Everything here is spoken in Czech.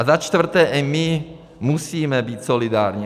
A za čtvrté, i my musíme být solidární.